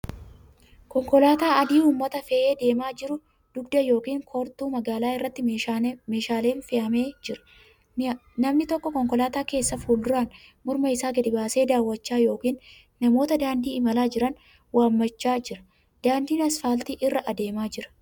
Konkolaataa adii uummata fe'ee deemaa jiru. Dugda yookiin koortuu magaalaa irratti meeshaan fe'amee jira. Namni tokko kankolaataa keessaa fuulduraan morma isaa gadi baasee daawwachaa yookan namoota daandii imalaa jiran waammachaa jira. Daandii asfaaltii irra adeemaa jira.